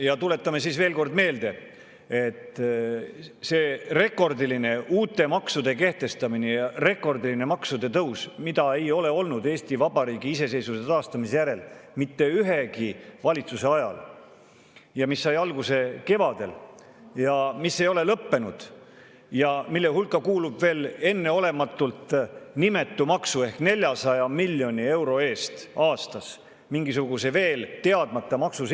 Ja tuletan veel kord meelde, et Eesti Vabariigi iseseisvuse taastamise järel ei ole olnud mitte ühegi valitsuse ajal sellist rekordilist uute maksude kehtestamist ja rekordilist maksude tõusu, mis sai alguse kevadel, mis ei ole lõppenud ja mille hulka kuulub enneolematult nimetu maks ehk 400 miljoni euro eest aastas mingisugust veel teadmata maksu.